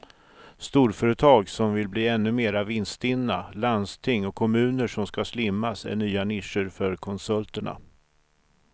Storföretag som vill bli ännu mer vinststinna, landsting och kommuner som ska slimmas är nya nischer för konsulterna.